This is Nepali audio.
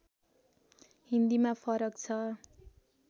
हिन्दीमा फरक छ